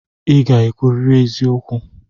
I ga-ekwuriri eziokwu!